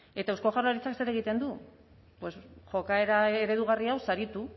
eta eusko jaurlaritzak zer egiten du pues jokaera eredugarria hau saritu